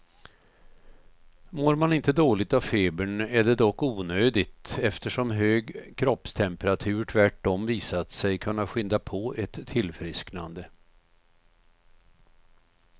Mår man inte dåligt av febern är det dock onödigt, eftersom hög kroppstemperatur tvärtom visat sig kunna skynda på ett tillfrisknande.